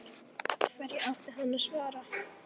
Hverju átti hann að svara?